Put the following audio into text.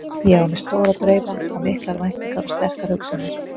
Ég á mér stóra drauma og miklar væntingar og sterkar hugsjónir.